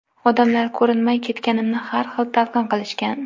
Odamlar ko‘rinmay ketganimni har xil talqin qilishgan.